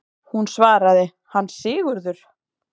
Hún svaraði: Hann Sigurður!